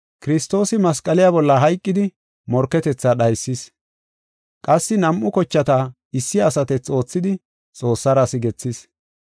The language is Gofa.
Kiristoosi masqaliya bolla hayqidi morketetha dhaysis; qassi nam7u kochata issi asatethi oothidi Xoossara sigethis.